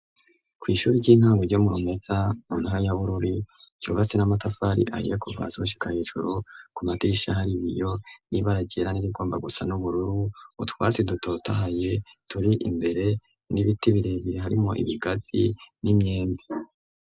Kwishuri ry'intango ryo mu Rumeza mu ntara ya Bururi ryubatse n'amatafari ahiye kuva hasi gushika hejuru ku madirisha hari yiyo nibara ryera n'irigomba gusa n'ubururu utwasi dutotahaye turi imbere n'ibiti birebire harimo ibigazi n'imyembi.